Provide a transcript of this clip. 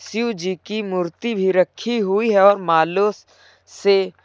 शिवजी की मूर्ति भी रखी हुई है और मालों से--